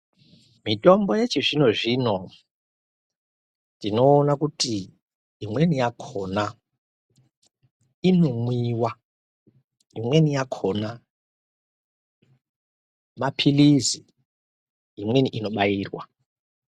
Mitombo yechizvino-zvino, tinoona kuti imweni yakhona, inomwiwa ,imweni yakhona maphilizi, imweni inobairwa.